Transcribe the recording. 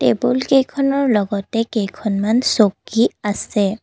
টেবুলকেইখনৰ লগতে কেইখনমান চকী আছে।